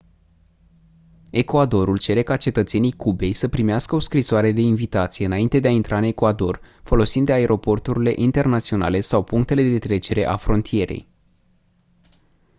ecuadorul cere ca cetățenii cubei să primească o scrisoare de invitație înainte de a intra în ecuador folosind aeroporturile internaționale sau punctele de trecere a frontierei